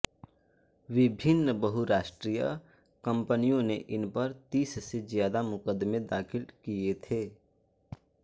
विभिन्न बहुराष्ट्रीय कम्पनियों ने इन पर तीस से ज्यादा मुकदमें दाखिल किये थे